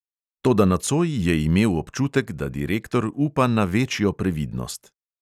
Toda nocoj je imel občutek, da direktor upa na večjo previdnost.